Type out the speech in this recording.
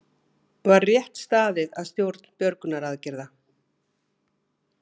Var rétt staðið að stjórn björgunaraðgerða